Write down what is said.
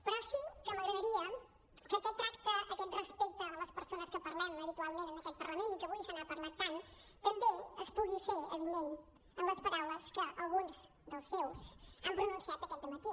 però sí que m’agradaria que aquest tracte aquest respecte a les persones que parlem habitualment en aquest parlament i que avui se n’ha parlat tant també es pugui fer avinent en les paraules que alguns dels seus han pronunciat aquest dematí